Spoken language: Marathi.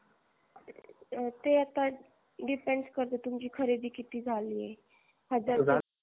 ते आता depend करत तुम्हची खरेदी किती झाली आहे